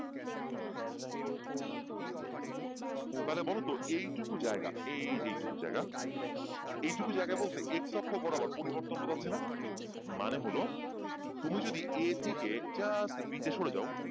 তাহলে বলতো এইটুকু জায়গা এই যে এইটুকু জায়গা, এইটুকু জায়গা বলতে x অক্ষ বরাবর পরিবর্তন বোঝাচ্ছে না? মানে হলো তুমি যদি a থেকে just b তে সরে যাও,